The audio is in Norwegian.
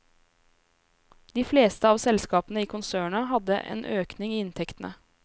De fleste av selskapene i konsernet hadde økning i inntektene.